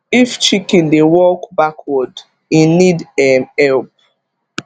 if chicken dey walk backward e need um help